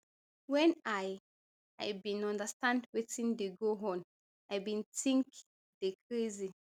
wen i i bin understand wetin dey go on i bin think dey crazy